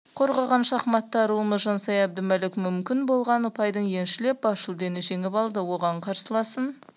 қорғаған шахматшы аруымыз жансая әбдімәлік мүмкін болған ұпайдың еншілеп бас жүлдені жеңіп алды ол қарсыласын